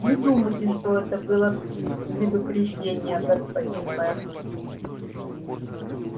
не думайте что это было предупреждение господин мэр